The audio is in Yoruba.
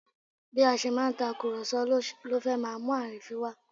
Bí a ṣe máa ń tàkùrọ̀sọ ló fẹ́ máa mú àrínfín wá